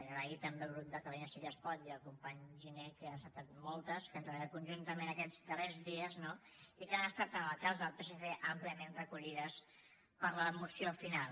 donar les gràcies també al grup de catalunya sí que es pot i al company giner que n’ha acceptat moltes que han treballat conjuntament aquests darrers dies no i que han estat en el cas del psc àmpliament recollides per la moció final